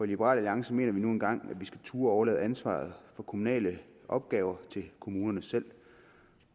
liberal alliance mener vi nu engang at vi skal turde overlade ansvaret for kommunale opgaver til kommunerne selv